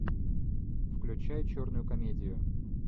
включай черную комедию